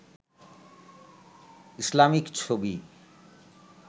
Islamic ছবি